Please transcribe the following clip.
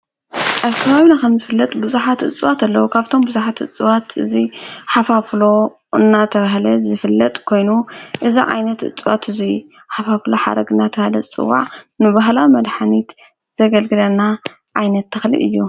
ኣብከባቢኩም ዝፍለጥ ብዙሓት እጽዋት ኣለዉ። ካብቶም ብዙሓት እጽዋት እዙይ ሓፉፍሎ እናተብሃለ ዝፍለጥ ኮይኑ እዚ ዓይነት እጽዋት እዙይ ሓፋፍሎ ሓረግናት ናለ ዕፅዋት ንባህላዊ መድኃኒት ዘገልግለና ኣይነት ተኽልል እዮ።